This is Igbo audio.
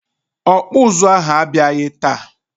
Ọkpụụzụ ahụ abịaghị taa.